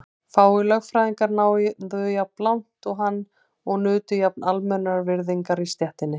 Fáir lögfræðingar náðu jafn langt og hann og nutu jafn almennrar virðingar í stéttinni.